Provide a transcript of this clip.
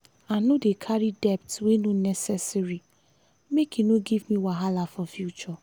i no dey carry debt wey no necessary make e no give me wahala for future.